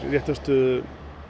réttarstöðu